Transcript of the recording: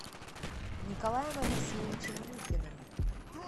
николаем алексеевичем мухиным